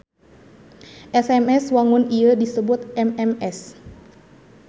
SMS wangun ieu disebut MMS.